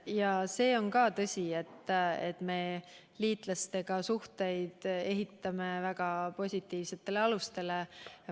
Ja ka see on tõsi, et me ehitame liitlastega suhteid väga positiivsetele alustele.